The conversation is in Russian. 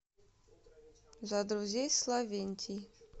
за друзей славентий